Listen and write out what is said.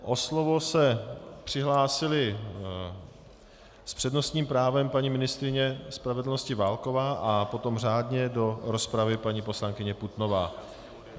O slovo se přihlásila s přednostním právem paní ministryně spravedlnosti Válková a potom řádně do rozpravy paní poslankyně Putnová.